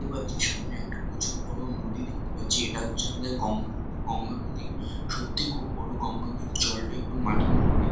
দেখতে পাচ্ছি সামনে একটা প্রচুর বড়ো নদী দেখতে পাচ্ছি। এটা হচ্ছে আমাদের গঙ্গা নদী। সত্যি খুব বড়ো গঙ্গা নদীর জলটা একটু মাটি মাটি দে--